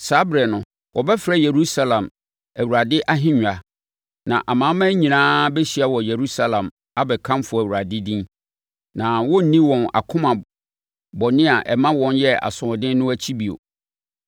Saa ɛberɛ no, wɔbɛfrɛ Yerusalem Awurade Ahennwa, na amanaman nyinaa bɛhyia wɔ Yerusalem abɛkamfo Awurade din. Na wɔrenni wɔn akoma bɔne a ɛma wɔn yɛ asoɔden no akyi bio.